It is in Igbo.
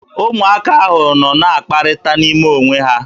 Ụmụaka ahụ nọ na-akpakọrịta n'ime onwe ha.